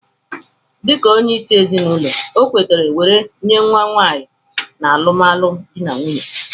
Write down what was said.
Dika onye isi ezinụlọ okwetere weree nye nwa nwanyi na alụmalụ di n'nwunye.